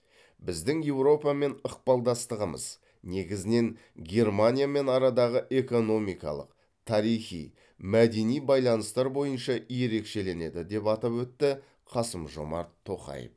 біздің еуропамен ықпалдастығымыз негізінен германиямен арадағы экономикалық тарихи мәдени байланыстар бойынша ерекшеленеді деп атап өтті қасым жомарт тоқаев